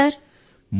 బావున్నాను సర్